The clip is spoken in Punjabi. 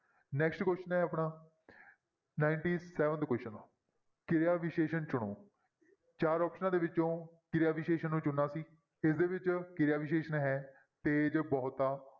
Next question ਹੈ ਆਪਣਾ ninety-seventh question ਕਿਰਿਆ ਵਿਸ਼ੇਸ਼ਣ ਚੁਣੋ, ਚਾਰ ਆਪਸਨਾਂ ਦੇ ਵਿੱਚੋਂ ਕਿਰਿਆ ਵਿਸ਼ੇਸ਼ਣ ਨੂੰ ਚੁਣਨਾ ਅਸੀਂ, ਇਹਦੇ ਵਿੱਚ ਕਿਰਿਆ ਵਿਸ਼ੇਸ਼ਣ ਹੈ ਤੇਜ ਬਹੁਤਾ